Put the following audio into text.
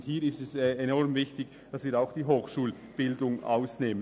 Nun ist es enorm wichtig, dass wir auch die Hochschulbildung vom Sparpaket ausnehmen.